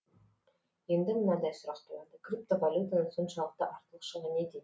енді мынадай сұрақ туады криптовалютаның соншалықты артықшылығы неде